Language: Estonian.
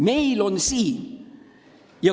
Meie territoorium on siin.